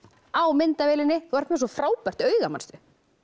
á myndavélinni þú ert með svo frábært auga manstu